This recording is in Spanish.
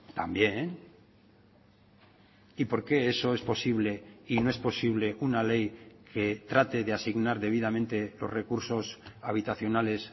también y por que eso es posible y no es posible una ley que trate de asignar debidamente los recursos habitacionales